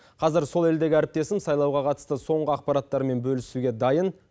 қазір сол елдегі әріптесім сайлауға қатысты соңғы ақпараттармен бөлісуге дайын